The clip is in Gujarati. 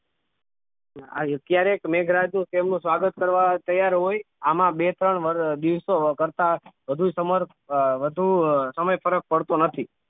આવી ક્યારેક મેઘરાજો તેમનું સ્વાગત કરવા તૈયાર હોય આમાં બે ત્રણ વર દિવસો કરતાં વધુ સમર વધુ સમય ફરક પડતો નથી